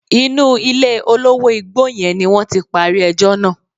Inú ilé olówó igbó yẹn ni wọ́n ti parí ẹjọ́ náà.